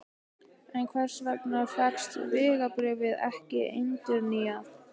En hvers vegna fékkst vegabréfið ekki endurnýjað?